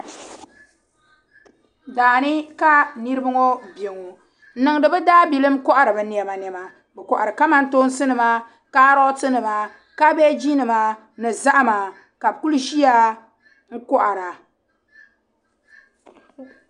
Daani kanirib ŋɔ beŋɔ n niŋdi bi daabilim nkohiri bi nema nema bikohiri kaman tooni nima kaaroti nima kabegi nima ni zahima ka bikuli ziya nkohara.